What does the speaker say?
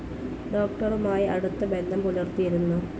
ഡോക്ടറുമായി അടുത്ത ബന്ധം പുലർത്തിയിരുന്നു.